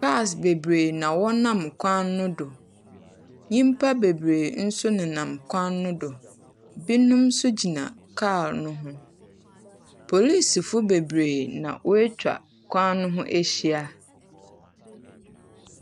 Cars bebree na wɔnam kwan no do. Nyimpa bebree nso nenam kwan no do. Binom nso gyina kaar no ho. Polisifoɔ bebree na woetwa kwan no ho ahyia.